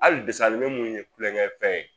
Ali desɛn anime mun ye kulongɛfɛn ye